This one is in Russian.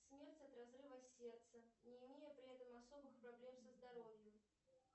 смерть от разрыва сердца не имея при этом особых проблем со здоровьем